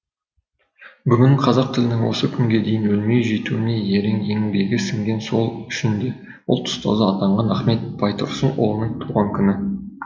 бүгін қазақ тілінің осы күнге дейін өлмей жетуіне ерен еңбегі сіңген сол үшін де ұлт ұстазы атанған ахмет байтұрсынұлының туған күні